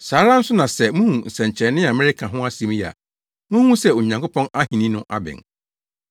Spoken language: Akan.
Saa ara nso na sɛ muhu nsɛnkyerɛnne a mereka ho asɛm yi a, munhu sɛ Onyankopɔn ahenni no abɛn.